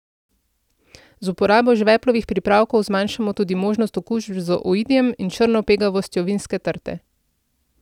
Z uporabo žveplovih pripravkov zmanjšamo tudi možnost okužb z oidijem in črno pegavostjo vinske trte.